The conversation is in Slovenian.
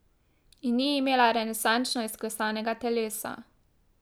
In ni imela renesančno izklesanega telesa.